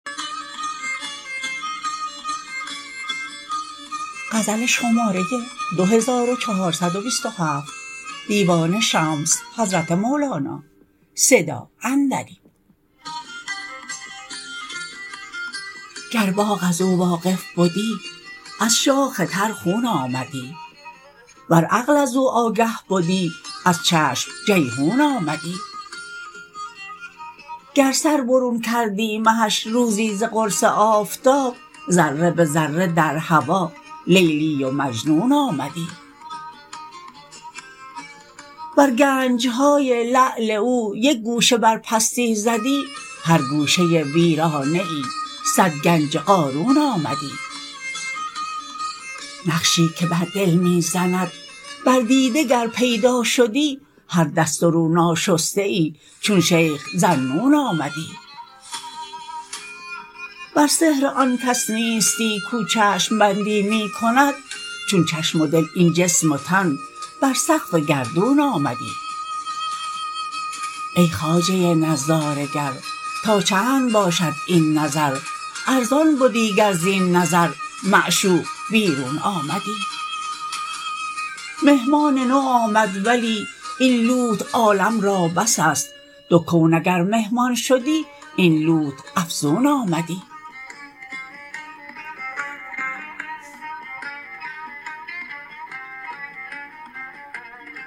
گر باغ از او واقف بدی از شاخ تر خون آمدی ور عقل از او آگه بدی از چشم جیحون آمدی گر سر برون کردی مهش روزی ز قرص آفتاب ذره به ذره در هوا لیلی و مجنون آمدی ور گنج های لعل او یک گوشه بر پستی زدی هر گوشه ویرانه ای صد گنج قارون آمدی نقشی که بر دل می زند بر دیده گر پیدا شدی هر دست و رو ناشسته ای چون شیخ ذاالنون آمدی ور سحر آن کس نیستی کو چشم بندی می کند چون چشم و دل این جسم و تن بر سقف گردون آمدی ای خواجه نظاره گر تا چند باشد این نظر ارزان بدی گر زین نظر معشوق بیرون آمدی مهمان نو آمد ولی این لوت عالم را بس است دو کون اگر مهمان شدی این لوت افزون آمدی